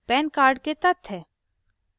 pan card के तथ्य